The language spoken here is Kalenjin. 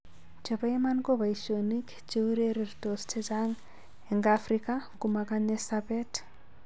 Chepo iman ko paishonik che ureretos chechang eng afrika komakanye sapet.